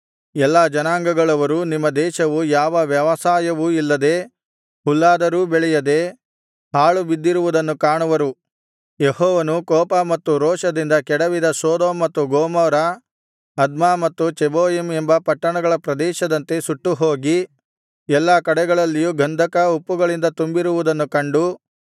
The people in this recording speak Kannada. ಎಲ್ಲಾ ಜನಾಂಗಗಳವರೂ ನಿಮ್ಮ ದೇಶವು ಯಾವ ವ್ಯವಸಾಯವೂ ಇಲ್ಲದೆ ಹುಲ್ಲಾದರೂ ಬೆಳೆಯದೆ ಹಾಳುಬಿದ್ದಿರುವುದನ್ನು ಕಾಣುವರು ಯೆಹೋವನು ಕೋಪ ಮತ್ತು ರೋಷದಿಂದ ಕೆಡವಿದ ಸೊದೋಮ್ ಮತ್ತು ಗೊಮೋರ ಅದ್ಮಾ ಮತ್ತು ಚೆಬೋಯಿಮ್ ಎಂಬ ಪಟ್ಟಣಗಳ ಪ್ರದೇಶದಂತೆ ಸುಟ್ಟು ಹೋಗಿ ಎಲ್ಲಾ ಕಡೆಗಳಲ್ಲಿಯೂ ಗಂಧಕ ಉಪ್ಪುಗಳಿಂದ ತುಂಬಿರುವುದನ್ನು ಕಂಡು